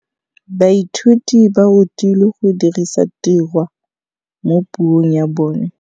Baithuti ba rutilwe go dirisa tirwa mo puong ya bone.